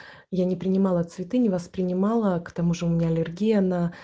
я не принимала цветы не воспринимала к тому же у меня аллергия на